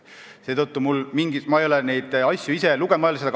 Seetõttu ma ei ole neid asju ise lugenud.